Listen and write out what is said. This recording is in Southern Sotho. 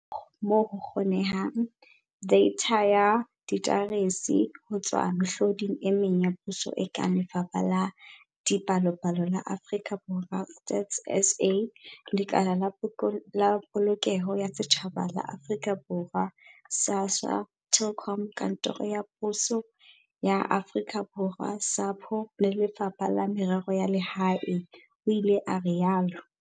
"Re amohetse ra ba ra sebedisa, moo ho kgonehang, deitha ya diaterese ho tswa mehloding e meng ya puso e kang Lefapha la Dipalopalo la Aforika Borwa, StatsSA, Lekala la Polokeho ya Setjhaba la Aforika Borwa, SASSA, Telkom, Kantoro ya Poso ya Aforika Borwa, SAPO, le Lefapha la Merero ya Lehae," o ile a rialo.